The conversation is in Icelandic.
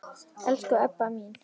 Elsku Ebba mín.